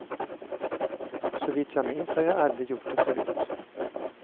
Såvitt jag minns har jag aldrig gjort det förut.